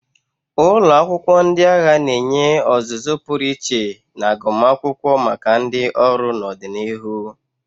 Ụlọ akwụkwọ ndị agha na-enye ọzụzụ pụrụ iche na agụmakwụkwọ maka ndị ọrụ n'ọdịnihu.